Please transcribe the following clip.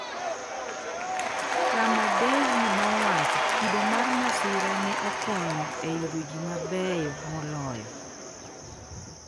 Rema Devi nowacho “Kido mar masira ne okonyo e yudo ji mabeyo moloyo.”